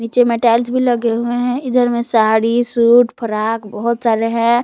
जेमे टाइल्स भी लगे हुए हैं इधर में साड़ी सूट फ्रॉक बहुत सारे हैं।